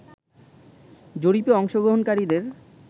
জরিপে অংশগ্রহণকারীদের